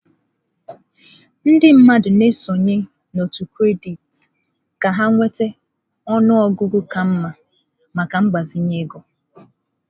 Ndị mmadụ na-esonye n'òtù kredit ka ha nweta ọnụ ọgụgụ ka mma maka mgbazinye ego.